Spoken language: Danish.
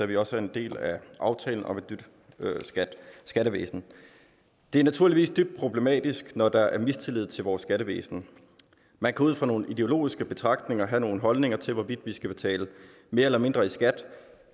vi også er en del af aftalen om et nyt skattevæsen det er naturligvis dybt problematisk når der er mistillid til vores skattevæsen man kan ud fra nogle ideologiske betragtninger have nogle holdninger til hvorvidt vi skal betale mere eller mindre i skat